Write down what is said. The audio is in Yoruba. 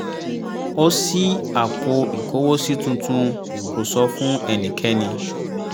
ó ṣí apò ìkówósí tuntun kó sọ fún ẹnikẹ́ni